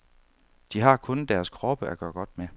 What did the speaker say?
De har kun deres kroppe at gøre godt med.